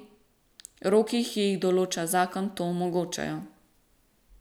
Roki, ki jih določa zakon, to omogočajo.